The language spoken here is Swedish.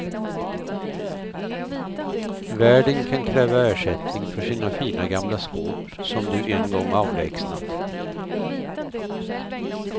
Värden kan kräva ersättning för sina fina gamla skåp som du en gång avlägsnat.